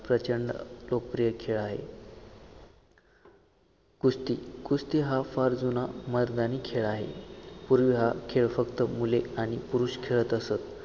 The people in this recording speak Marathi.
प्रचंड लोकप्रिय खेळ आहे. कुस्ती कुस्ती हा फार जुना मर्दानी खेळ आहे पुर्वी हा खेळ फक्त मुले आणि पुरुष खेळत असत